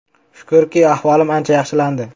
“Shukrki, ahvolim ancha yaxshilandi.